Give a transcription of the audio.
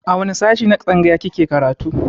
A wane sashe na tsangaya kike karatu